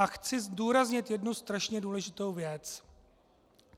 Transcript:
A chci zdůraznit jednu straně důležitou věc.